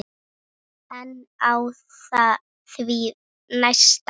En á því næsta?